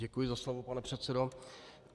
Děkuji za slovo, pane předsedo.